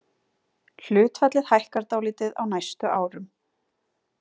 Hlutfallið hækkar dálítið á næstu árum.